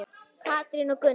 Katrín og Gunnar.